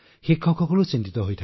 শিক্ষকসকলো বিচলিত হৈছে